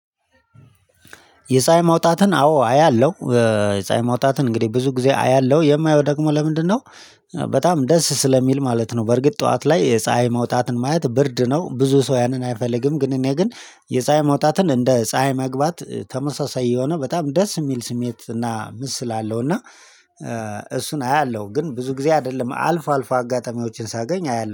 የፀሀይ መውጣትን አዎ አያለሁ። የፀሀይ መውጣትን እንግዲህ ብዙ ጊዜ አያለሁ የማየው ደግሞ ለምንድነው? በጣም ደስ ስለሚል ማለት ነው። በርግጥ ጠዋት ላይ የፀሀይ መውጣትን ማየት ብርድ ነው ብዙ ሰው ያንን አይፈልግም። ግን እኔ ግን የፀሀይ መውጣትን እንደ ፀሀይ መግባት ተመሳሳይ የሆነ በጣም ደስ የሚል ስሜት እና ምስል አለው። እና እሱን አያለሁ ግን ብዙ ጊዜ አይደለም አልፎ አልፎ አጋጣሚዎችን ሳገኝ አያለሁ